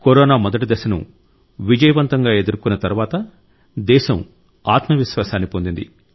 corona మొదటి దశను విజయవంతంగా ఎదుర్కొన్న తరువాత దేశం ఆత్మవిశ్వాసాన్ని పొందింది